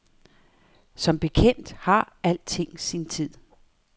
Som bekendt har alting sin tid.